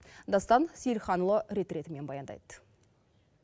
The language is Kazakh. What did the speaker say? дастан сейілханұлы рет ретімен баяндайды